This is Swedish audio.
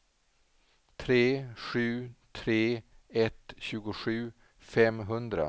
tre sju tre ett tjugosju femhundra